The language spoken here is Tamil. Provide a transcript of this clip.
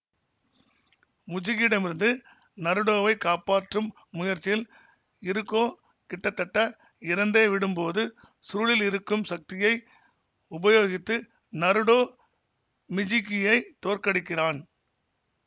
முஜுகியிடமிருந்து நருடோவைக் காப்பாற்றும் முயற்சியில் இருகோ கிட்டத்தட்ட இறந்தே விடும்போது சுருளில் இருக்கும் சக்தியை உபயோகித்து நருடோ மிஜூகியைத் தோற்கடிக்கிறான்